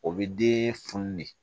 O bɛ den funu de